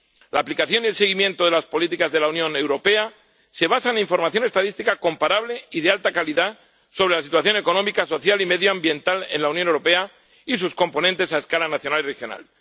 La aplicación y el seguimiento de las políticas de la Unión Europea se basan en información estadística comparable y de alta calidad sobre la situación económica, social y medioambiental en la Unión Europea y sus componentes a escala nacional y regional.